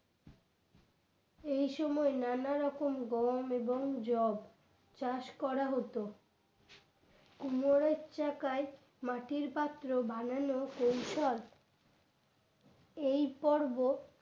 এই সময় নানারকম গম এবং জব চাষ করা হতো কুমোরের চাকায় মাটির পাত্র বানানো কৌশল এই পর্ব